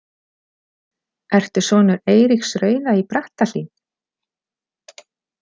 Ertu sonur Eiríks rauða í Brattahlíð?